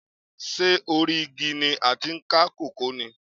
Ṣé orí igi ni a ti ń ká kókò ni?